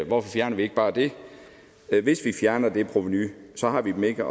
hvorfor fjerner vi ikke bare det hvis vi fjerner det provenu så har vi ikke